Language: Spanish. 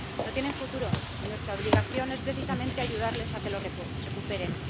No tienen futuro y nuestra obligación es, precisamente, ayudarles a que lo recuperen.